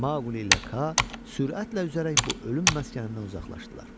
Mauqli ilə Ka sürətlə üzərək bu ölüm məskənindən uzaqlaşdılar.